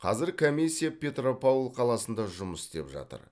қазір комиссия петропавл қаласында жұмыс істеп жатыр